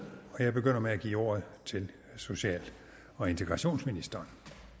og jeg begynder med at give ordet til social og integrationsministeren